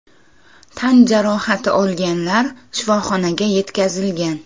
Tan jarohati olganlar shifoxonaga yetkazilgan.